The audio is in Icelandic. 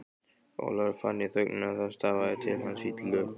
Ólafur fann í þögninni að það stafaði til hans illu.